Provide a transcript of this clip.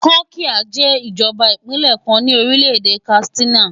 Kankia jẹ́ ìjọba ìbílẹ̀ kan ní ìlú Katsina.